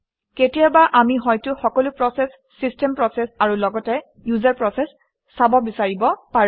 কেতিয়াবা আমি হয়তো সকলো প্ৰচেচ - চিষ্টেম প্ৰচেচ আৰু লগতে ইউজাৰ প্ৰচেচ চাব বিচাৰিব পাৰোঁ